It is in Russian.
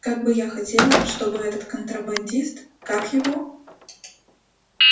как бы я хотела чтобы этот контрабандист как его